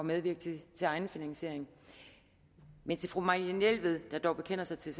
medvirke til egenfinansiering men til fru marianne jelved der dog bekender sig til